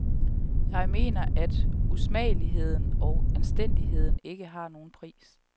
Jeg mener, at usmageligheden og anstændigheden ikke har nogen pris.